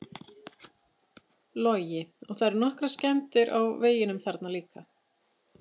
Logi: Og það eru nokkrar skemmdir á veginum þarna líka?